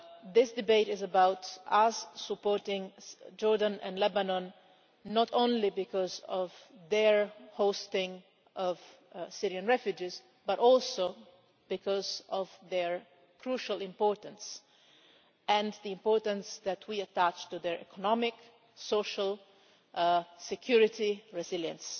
This debate is about us supporting Jordan and Lebanon, not only because of their hosting of Syrian refugees, but also because of their crucial importance and the importance that we attach to their economic, social and security resilience.